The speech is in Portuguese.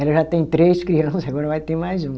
Ela já tem três criança, agora vai ter mais um.